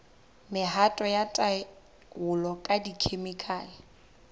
mehato ya taolo ka dikhemikhale